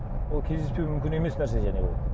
ол кездеспеуі мүмкін емес нәрсе және ол